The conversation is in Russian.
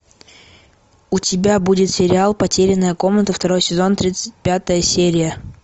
у тебя будет сериал потерянная комната второй сезон тридцать пятая серия